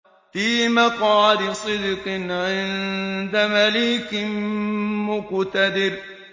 فِي مَقْعَدِ صِدْقٍ عِندَ مَلِيكٍ مُّقْتَدِرٍ